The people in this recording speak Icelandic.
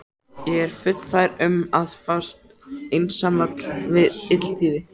Ég er fullfær um að fást einsamall við illþýði!